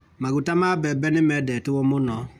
Maguta ma mbembe nĩmendetwo mũno.